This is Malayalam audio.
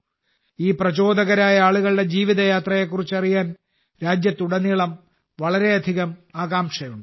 ഈ പ്രചോദകരായ ആളുകളുടെ ജീവിതയാത്രയെക്കുറിച്ച് അറിയാൻ രാജ്യത്തുടനീളം വളരെയധികം ആകാംക്ഷയുണ്ട്